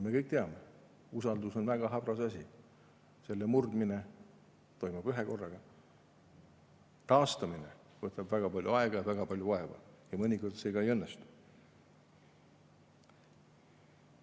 Me kõik teame, et usaldus on väga habras asi, selle murdmine toimub ühekorraga, aga taastamine võtab väga palju aega ja väga palju vaeva, ja mõnikord see ka ei õnnestu.